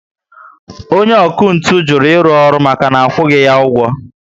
Onye ọkụ ntụ juru iru ọrụ maka na akwughi ya ụgwọ